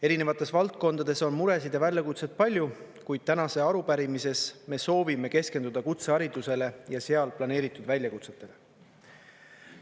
Erinevates valdkondades on muresid ja väljakutseid palju, kuid tänases arupärimises me soovime keskenduda kutseharidusele ja seal planeeritud väljakutsetele.